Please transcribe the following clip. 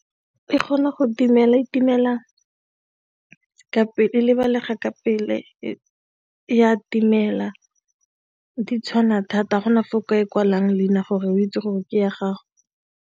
E kgona go timela, e timela o ka lebalega ka pele di tshwana thata ga go na fa o ka e kwalang leina gore o itse gore ke ya gago.